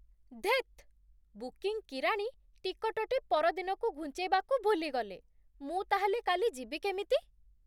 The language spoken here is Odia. ଧେତ୍! ବୁକିଂ କିରାଣୀ ଟିକଟ୍‌ଟି ପରଦିନକୁ ଘୁଞ୍ଚେଇବାକୁ ଭୁଲି ଗଲେ। ମୁଁ ତା'ହେଲେ କାଲି ଯିବି କେମିତି?